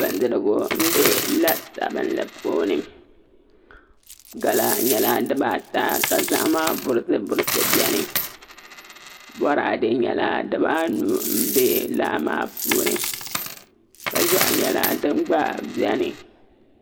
Bindirigu n bɛ la sabinli puuni gala maa nyɛla dibata ka zaham burisi burisi bɛni boraadɛ nyɛla dibaanu n bɛ laa maa puuni kpa ʒiɛɣu nyɛla din gba bɛni